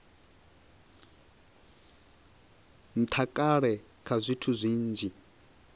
ntha kale kha zwithu zwinzhi